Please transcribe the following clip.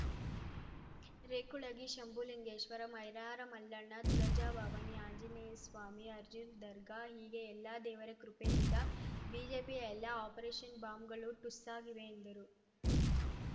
ರೇಕುಳಗಿ ಶಂಭುಲಿಂಗೇಶ್ವರ ಮೈಲಾರ ಮಲ್ಲಣ್ಣ ತುಳಜಾ ಭವಾನಿ ಆಂಜನೇಯ ಸ್ವಾಮಿ ಅಜ್ಮೀರ್‌ ದರ್ಗಾ ಹೀಗೆ ಎಲ್ಲ ದೇವರ ಕೃಪೆಯಿಂದ ಬಿಜೆಪಿಯ ಎಲ್ಲ ಆಪರೇಶನ್‌ ಬಾಂಬ್‌ಗಳು ಠುಸ್ಸಾಗಿವೆ ಎಂದರು